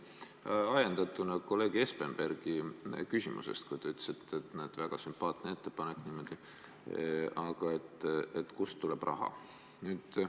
Minu küsimus on ajendatud vastusest kolleeg Espenbergi küsimusele, kui te ütlesite, et väga sümpaatne ettepanek, aga kust tuleb raha.